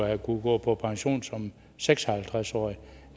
have kunnet gå på pension som seks og halvtreds årig